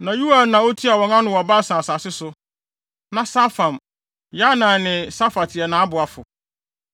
Na Yoel na otua wɔn ano wɔ Basan asase so. Na Safam, Yanai ne Safat yɛ nʼaboafo.